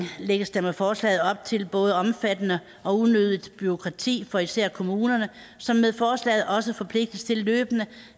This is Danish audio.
lægges der med forslaget op til både omfattende og unødigt bureaukrati for især kommunerne som med forslaget også forpligtes til løbende